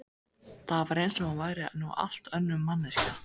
Það var eins og hún væri nú allt önnur manneskja.